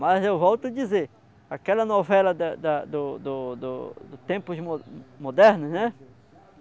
Mas eu volto a dizer, aquela novela da, da, do, do, do tempos modernos, né?